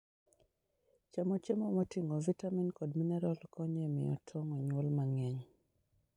Chamo chiemo moting'o vitamin kod mineral konyo e miyo tong' onyuol mang'eny.